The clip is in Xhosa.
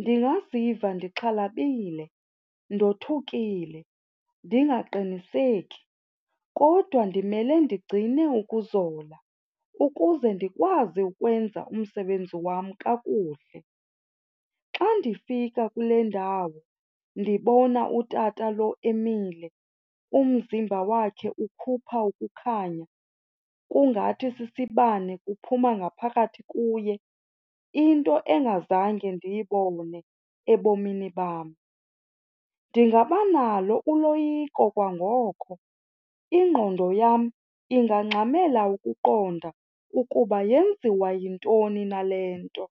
ndingaziva ndixhalabile, ndothukile, ndingaqiniseka kodwa ndimele ndigcine ukuzola ukuze ndikwazi ukwenza umsebenzi wam kakuhle. Xa ndifika kule ndawo ndibona utata lo emile, umzimba wakhe ukhupha ukukhanya kungathi sisibane kuphuma ngaphakathi kuye, into engazange ndiyibone ebomini bam ndingaba nalo uloyiko kwangoko. Ingqondo yam ingangxamela ukuqonda ukuba yenziwa yintoni na le nto.